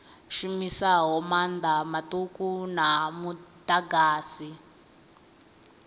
shumisaho maanḓa maṱuku a muḓagasi